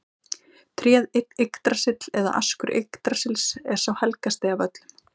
Tréð Yggdrasill eða askur Yggdrasils er sá helgasti af öllum.